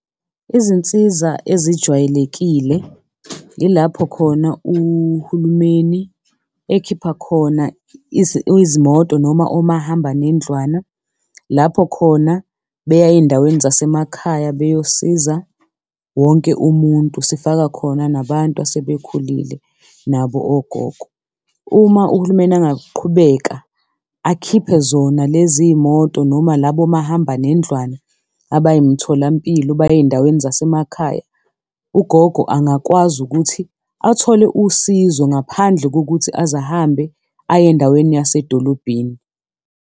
Izinsiza ezijwayelekile yilapho khona uhulumeni ekhipha khona izimoto noma omahambanendlwana lapho khona beya ezindaweni zasemakhaya beyosiza wonke umuntu, sifaka khona nabantu asebekhulile nabo ogogo. Uma uhulumeni angaqhubeka akhiphe zona lezi y'moto noma labo mahambanendlwane abayimtholampilo baye ezindaweni zasemakhaya, ugogo angakwazi ukuthi athole usizo ngaphandle kokuthi aze ahambe aye endaweni yasedolobheni.